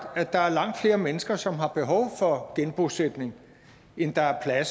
at der er langt flere mennesker som har behov for genbosætning end der er